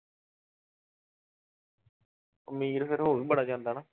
ਅਮੀਰ ਫਿਰ ਹੋ ਵੀ ਬੜਾ ਜਾਂਦਾ ਨਾ।